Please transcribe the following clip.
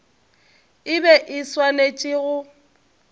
e be e swanetše go